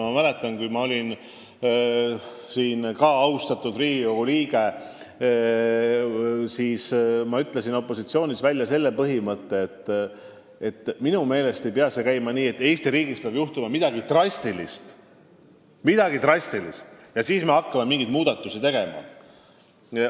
Ma mäletan, et kui minagi olin austatud Riigikogu liige, siis ma ütlesin opositsioonis olles välja põhimõtte, et minu meelest ei pea see käima nii, et Eesti riigis peab juhtuma midagi drastilist, enne kui me hakkame mingeid muudatusi tegema.